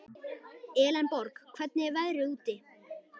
Elenborg, hvernig er veðrið úti?